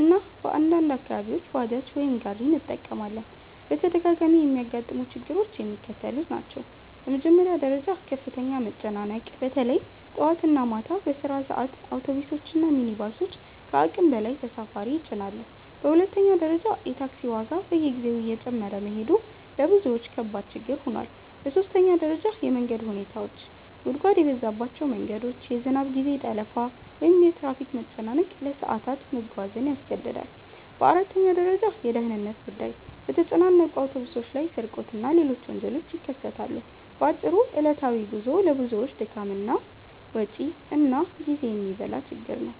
እና በአንዳንድ አካባቢዎች ባጃጅ ወይም ጋሪ እንጠቀማለን። በተደጋጋሚ የሚያጋጥሙ ችግሮች የሚከተሉት ናቸው፦ በመጀመሪያ ደረጃ ከፍተኛ መጨናነቅ – በተለይ ጠዋት እና ማታ በስራ ሰዓት አውቶቡሶች እና ሚኒባሶች ከአቅም በላይ ተሳፋሪ ይጭናሉ። በሁለተኛ ደረጃ የታክሲ ዋጋ በየጊዜው እየጨመረ መሄዱ ለብዙዎች ከባድ ችግር ሆኗል። በሦስተኛ ደረጃ የመንገድ ሁኔታዎች – ጉድጓድ የበዛባቸው መንገዶች፣ የዝናብ ጊዜ ጠለፋ ወይም የትራፊክ መጨናነቅ ለሰዓታት መጓዝን ያስገድዳል። በአራተኛ ደረጃ የደህንነት ጉዳይ – በተጨናነቁ አውቶቡሶች ላይ ስርቆት እና ሌሎች ወንጀሎች ይከሰታሉ። በአጭሩ ዕለታዊ ጉዞው ለብዙዎች ድካም፣ ወጪ እና ጊዜ የሚበላ ችግር ነው።